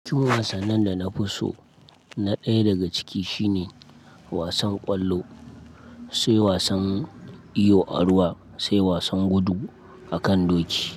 Ciwon wasanni da na fi so na ɗaya daga ciki shine wasan ƙwallo, sai wasan iyo a ruwa, sai wasan gudu a kan doki.